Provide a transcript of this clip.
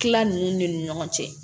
Tila ninnu ni ɲɔgɔn cɛ